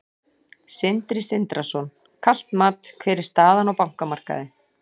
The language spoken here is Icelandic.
Sindri Sindrason: Kalt mat, hver er staðan á bankamarkaði?